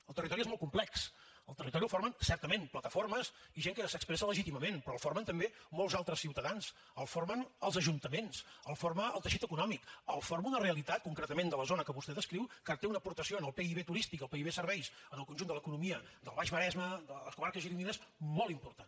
el territori és molt complex el territori el formen certament plataformes i gent que s’expressa legítimament però el formen també molts altres ciutadans el formen els ajuntaments el forma el teixit econòmic el forma una realitat concretament de la zona que vostè descriu que té una aportació en el pib turístic i en el pib serveis en el conjunt de l’economia del baix maresme de les comarques gironines molt important